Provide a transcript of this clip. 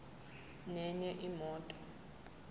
nenye imoto